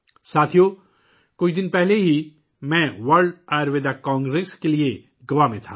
ساتھیو ، کچھ دن پہلے میں ورلڈ آیوروید کانگریس کے لیے گوا میں تھا